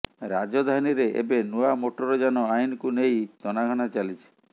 ରାଜଧାନୀରେ ଏବେ ନୂଆ ମୋଟର ଯାନ ଆଇନକୁ ନେଇ ତନାଘନା ଚାଲିଛି